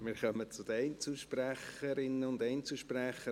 Wir kommen zu den Einzelsprecherinnen und Einzelsprechern.